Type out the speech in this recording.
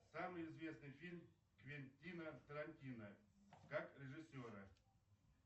самый известный фильм квентина тарантино как режиссера